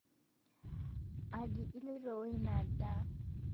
Aji iloito oo nia ndaa?